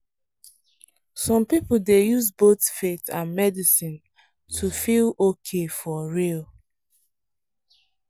some people dey use both faith and medicine to feel okay for real.